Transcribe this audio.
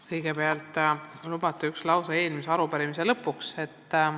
Kõigepealt, kui lubate, üks lause eelmise arupärimise lõpetuseks.